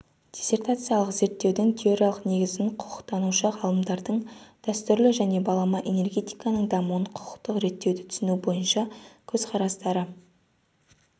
диссертациялық зерттеудің теориялық негізін құқықтанушы ғалымдардың дәстүрлі және балама энергетиканың дамуын құқықтық реттеуді түсіну бойынша көзқарастары